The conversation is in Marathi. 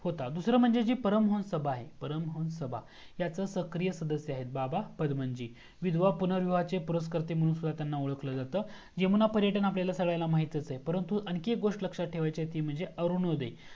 होता दूसरा मंजे जी परम हंस आहे परम हंस सभा ह्याचे सक्रिय सदस्य आहेत बाबा पदमांजी विधवा पुनर्विवाह चे पुरस्कर्ते म्हणून त्यांना ओळखला जात यमुना पर्यटन आपल्या सगळ्यांना माहीतचा आहे परंतु आणखीन एक गोस्ट लक्ष्यात ठेवायची आहे ती म्हणजे अरुणोदय